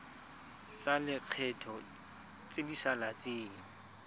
tsa lekgetho tse di saletseng